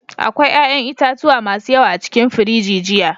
Akwai 'ƴa'ƴan itatuwa masu yawa a cikin firiji jiya.